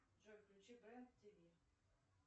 джой включи бренд тв